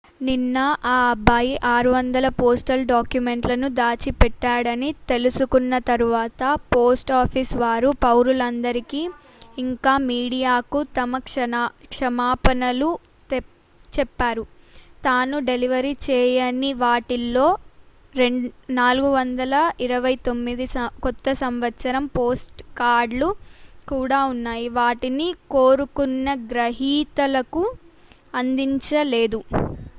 నిన్న ఆ అబ్బాయి 600 పోస్టల్ డాక్యుమెంట్లను దాచి పెట్టాడని తెలుసుకొన్న తర్వాత పోస్ట్ ఆఫీస్ వారు పౌరులందరికీ ఇంకా మీడియాకు తమ క్షమాపణలు చెప్పారు తాను డెలివరీ చేయని వాటిలో 429 కొత్త సంవత్సరం పోస్ట్ కార్డులు కూడా ఉన్నాయి వాటిని కోరుకున్న గ్రహీతలకు అందించలేదు